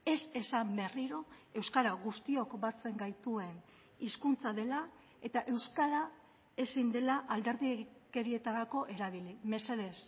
ez esan berriro euskara guztiok batzen gaituen hizkuntza dela eta euskara ezin dela alderdikerietarako erabili mesedez